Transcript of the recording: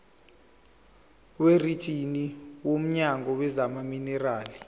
werijini womnyango wezamaminerali